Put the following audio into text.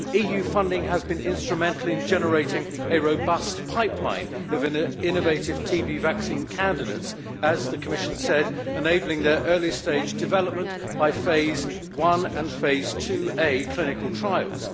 EU funding has been instrumental in generating a robust pipeline of innovative TB vaccine candidates, as the Commission said enabling their early stage development by phase 1 and phase 2A clinical trials.